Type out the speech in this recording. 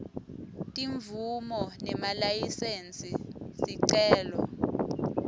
timvumo nemalayisensi sicelo